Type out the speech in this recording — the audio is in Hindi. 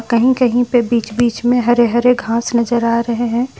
कहीं कहीं पे बीच बीच में हरे हरे घास नजर आ रहे हैं।